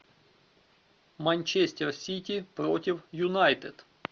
манчестер сити против юнайтед